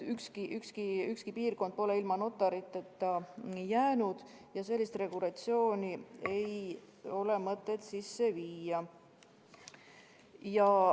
Ükski piirkond pole ilma notariteta jäänud ja sellist regulatsiooni ei ole mõtet sisse viia.